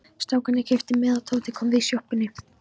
Strákarnir keyptu miða og Tóti kom við í sjoppunni.